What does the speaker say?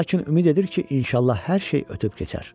Lakin ümid edir ki, inşallah hər şey ötüb keçər.